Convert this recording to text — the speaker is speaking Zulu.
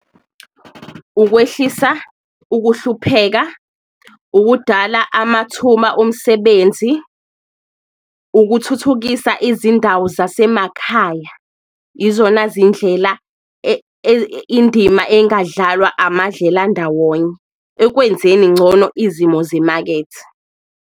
Ukwehlisa ukuhlupheka, ukudala amathuma omsebenzi, ukuthuthukisa izindawo zasemakhaya, izona zindlela indima engadlalwa amadlelandawonye ekwenzeni ngcono izimo zemakethe.